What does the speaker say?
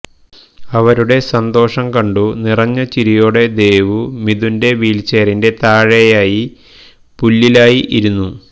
അവരുടെ സന്തോഷം കണ്ടു നിറഞ്ഞ ചിരിയോടെ ദേവു മിഥുന്റെ വീൽച്ചെയറിന്റെ താഴെയായി പുല്ലിലായി ഇരുന്നു